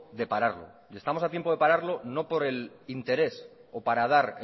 de pararlo y estamos a tiempo de pararlo no por el interés o para dar